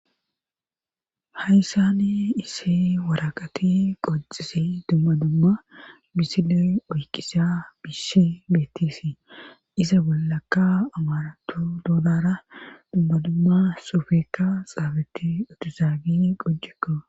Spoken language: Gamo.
Hayssani isi waraqati qocisi dumma dumma bisile oykisa bisshi beettisi isa bollakka amarato dodara dumma dumma sofeeka xaabeti otozaagi qojekko